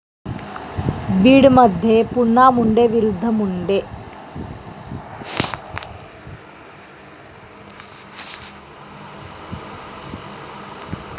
बीडमध्ये पुन्हा मुंडे विरूद्ध मुंडे